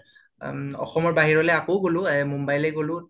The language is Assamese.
অসমৰ বাহিৰলৈ আকৌ গলোঁ অ মুম্বাইলৈ গোলোঁ